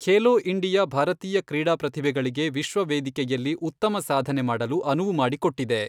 Khelo India ಭಾರತೀಯ ಕ್ರೀಡಾ ಪ್ರತಿಭೆಗಳಿಗೆ ವಿಶ್ವ ವೇದಿಕೆಯಲ್ಲಿ ಉತ್ತಮ ಸಾಧನೆ ಮಾಡಲು ಅನುವು ಮಾಡಿಕೊಟ್ಟಿದೆ .